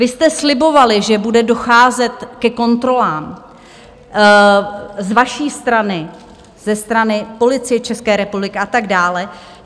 Vy jste slibovali, že bude docházet ke kontrolám z vaší strany, ze strany Policie České republiky, a tak dále.